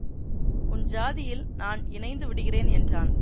உன் ஜாதியில் நான் இணைந்துவிடுகிறேன் என்றான்